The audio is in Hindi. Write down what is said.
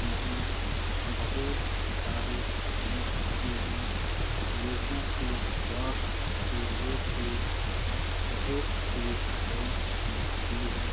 यहाँ बहुत सारे काम होते है। लोगों को स्वास्थ्य से लेके बहुत सुविधाएं मिलती है।